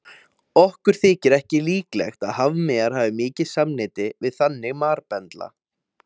Okkur þykir ekki líklegt að hafmeyjar hafi mikið samneyti við þannig marbendla.